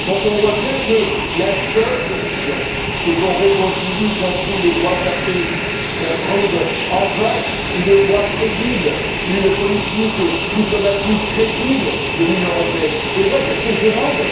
Nous voyons bien que la seule solution c'est la réconciliation, c'est de trouver les voix de la paix, de trouver enfin une voix crédible, une politique diplomatique crédible de l'Union européenne et moi, c'est ce que je demande.